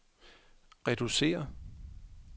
reducere